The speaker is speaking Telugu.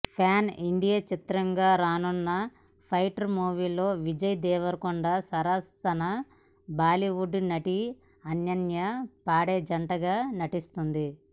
ప్యాన్ ఇండియా చిత్రంగా రానున్న ఫైటర్ మూవీలో విజయ్ దేవరకొండ సరసన బాలీవుడ్ నటి అనన్య పాండే జంటగా నటిస్తోంది